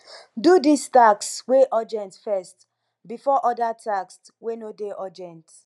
do di task wey urgent first before oda tasks wey no dey urgent